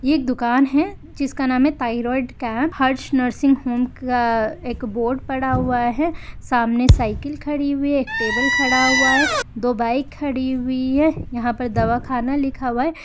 ये दुकान हैंजिस का नाम हैंथाईराड कैम्प हर्ष नर्सिंग होम का एक बोर्ड पड़ा हुआ हैं सामने साइकिल खड़ी हुई हैं एक टेबल खड़ा हुआ हैं दो बाईक खड़ी हुई हैं यहाँ पर दवाखाना लिखा हुआ हैं।